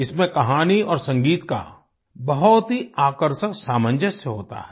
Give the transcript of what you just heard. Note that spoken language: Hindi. इसमें कहानी और संगीत का बहुत ही आकर्षक सामंजस्य होता है